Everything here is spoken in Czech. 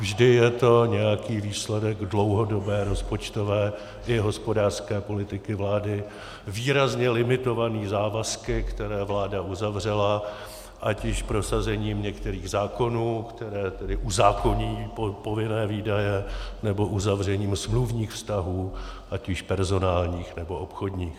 Vždy je to nějaký výsledek dlouhodobé rozpočtové i hospodářské politiky vlády výrazně limitovaný závazky, které vláda uzavřela, ať již prosazením některých zákonů, které tedy uzákoní povinné výdaje, nebo uzavřením smluvních vztahů, ať již personálních, nebo obchodních.